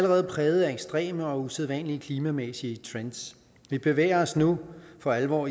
allerede præget af ekstreme og usædvanlige klimamæssige trends vi bevæger os nu for alvor